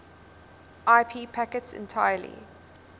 ip packets entirely